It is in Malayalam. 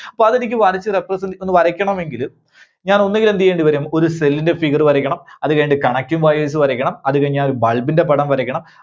പകുതിയ്ക്ക് വരച്ച് represent ഒന്ന് വരയ്ക്കണമെങ്കില് ഞാൻ ഒന്നുകിൽ എന്ത് ചെയ്യേണ്ടിവരും? ഒരു cell ന്റെ figure വരക്കണം അത് കഴിഞ്ഞിട്ട് connecting wires വരക്കണം അത് കഴിഞ്ഞാൽ bulb ന്റെ പടം വരക്കണം.